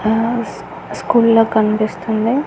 ఆస్ స్కూల్లా కనిపిస్తుంది.